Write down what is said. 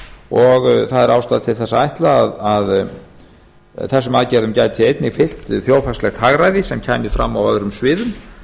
og það er ástæða til þess að ætla að þessum aðgerðum gæti einnig fylgt þjóðhagslegt hagræði sem kæmi fram á öðrum sviðum